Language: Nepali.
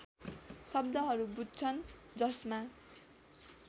शब्दहरू बुझ्छन् जसमा